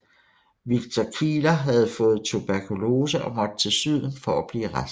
Victor Kieler havde fået tuberkulose og måtte til syden for at blive rask